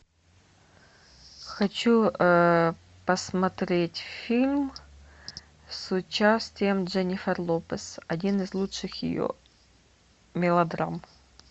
хочу посмотреть фильм с участием дженнифер лопес один из лучших ее мелодрам